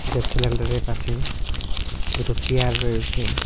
Gas সিলিন্ডারের পাশে দুটো চেয়ার রয়েছে।